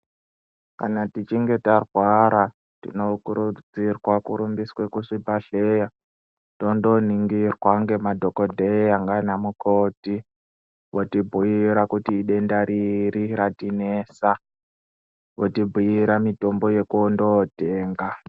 Kana tichinge tarwara tinokurudzirwa kurumbiswa kuchibhehleya tondoningirwa ngemadhokodheya nanamukoti voti bhuyira kuti denda riri ratinesa ,votibhuyira mitombo yekundotenga.